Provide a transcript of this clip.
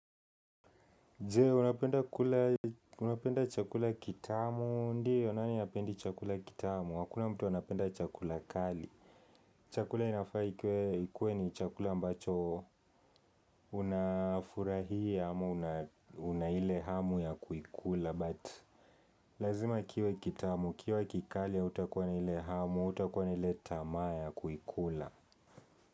Je, unapenda kula chakula kitamu. Ndio, nani hapendi chakula kitamu? Hakuna mtu anapenda chakula kali. Chakula inafaa ikue ni chakula ambacho unafurahia ama una ile hamu ya kuikula. But lazima kiwe kitamu, ikiwa kikali hutakuwa na ile hamu, hutakuwa na ile tamaa ya kuikula.